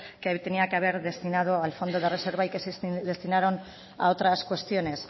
que tenía que haber destinado al fondo de reserva y que se destinaron a otras cuestiones